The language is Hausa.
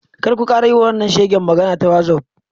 Kar ku kara yiwa wannan shegen magana ta wazof.